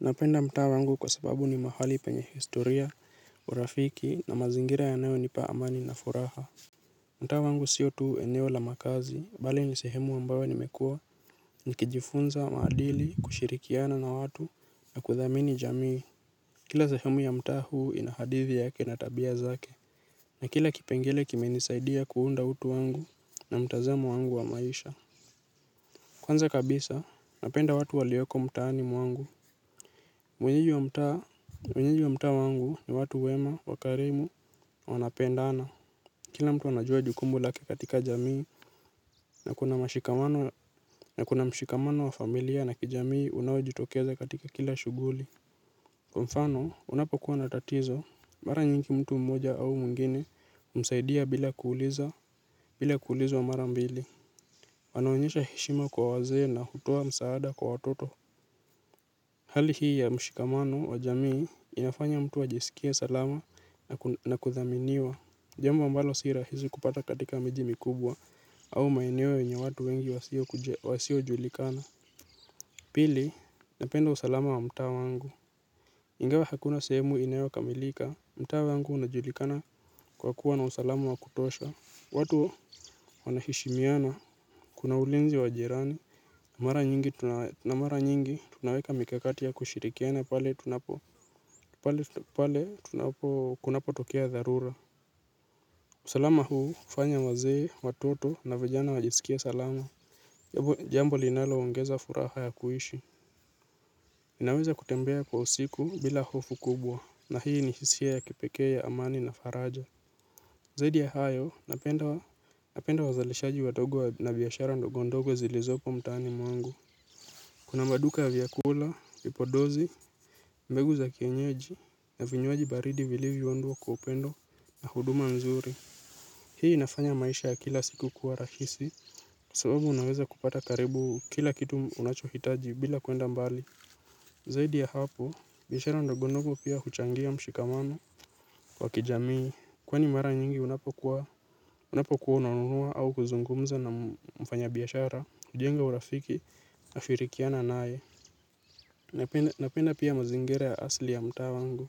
Napenda mtaa wangu kwa sababu ni mahali penye historia urafiki na mazingira yanayonipa amani na furaha. Mtaa wangu sio tu eneo la makazi bali ni sehemu ambayo nimekuwa nikijifunza maadili kushirikiana na watu na kuthamini jamii. Kila sehemu ya mtaa huu ina hadithi yake na tabia zake. Na kila kipengele kimenisaidia kuunda utu wangu na mtazamo wangu wa maisha. Kwanza kabisa napenda watu walioko mtaani mwangu wenyeji wa mtaa, wenyeji wa mtaa wangu ni watu wema, wakarimu, wanapendana. Kila mtu anajua jukumu lake katika jamii, na kuna mashikamano, na kuna mshikamano wa familia na kijamii unaojitokeza katika kila shughuli. Kwa mfano, unapokuwa na tatizo, mara nyingi mtu mmoja au mwengine, humsaidia bila kuuliza, bila kuulizwa mara mbili. Wanaonyesha heshima kwa wazee na hutoa msaada kwa watoto. Hali hii ya mshikamano wa jamii inafanya mtu ajisikie salama na kuthaminiwa. Jambo ambalo si rahizi kupata katika miji mikubwa au maeneo yenye watu wengi wasiojulikana. Pili, napenda usalama wa mtaa wangu. Ingawa hakuna sehemu inayokamilika, mtaa wangu unajulikana kwa kuwa na usalama wa kutosha. Watu wanaheshimiana, kuna ulinzi wa jirani, na mara nyingi tunaweka mikakati ya kushirikiana pale tunapo kunapotokea dharura. Salama huu, hufanya wazee, watoto, na vijana wajisikie salama. Jambo linaloongeza furaha ya kuishi. Ninaweza kutembea kwa usiku bila hofu kubwa, na hii ni hisia ya kipekee ya amani na faraja. Zaidi ya hayo, napenda wazalishaji wadogo na biashara ndogondogo zilizopo mtaani mwangu. Kuna maduka ya vyakula, vipodozi, mbegu za kienyeji, na vinywaji baridi vilivyoundwa kwa upendo na huduma mzuri. Hii inafanya maisha ya kila siku kuwa rahisi, kwa sababu unaweza kupata karibu kila kitu unachohitaji bila kuenda mbali. Zaidi ya hapo, biashara ndogondogo pia huchangia mshikamamao wa kijamii. Kwani mara nyingi unapokuwa unanunua au kuzungumza na mfanyabiashara kujenga urafiki nashirikiana naye. Napenda pia mazingira ya asli ya mtaa wangu.